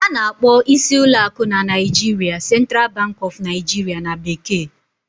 A na-akpọ isi ụlọ akụ na Naijiria "Central Bank of Nigeria" na bekee